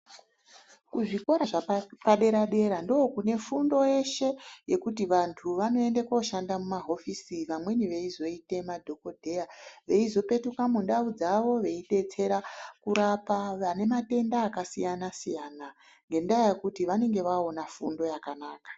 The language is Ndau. Kuzvikora zvapa dera dera ndo kune fundo yeshe yekuti vandu vanoenda ko shanda muma hofisi vamweni veizoite ma dhokoteya veizo pekuka mundau dzavo vebetsera kurapa vane madenda aka siyana siyana ngendaa yekuti vanenge vaona fundo yakanaka